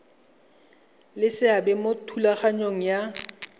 le seabe mo thulaganyong ya